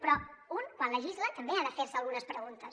però un quan legisla també ha de fer se algunes preguntes